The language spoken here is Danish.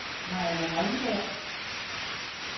Mariann Holmberg